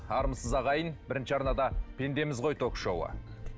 армысыз ағайын бірінші арнада пендеміз ғой ток шоуы